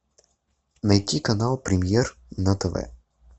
найти канал премьер на тв